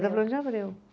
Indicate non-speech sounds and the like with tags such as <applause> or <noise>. <unintelligible> de Abreu.